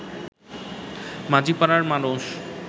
মাঝিপাড়ার মানুষ